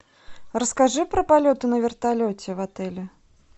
расскажи про полеты на вертолете в отеле